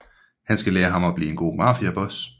Han skal lære ham at blive en god mafiaboss